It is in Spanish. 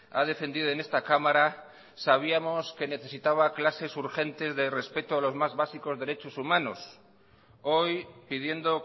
ha defendido en esta cámara sabíamos que necesitaba clases urgentes de respeto a los más básicos derechos humanos hoy pidiendo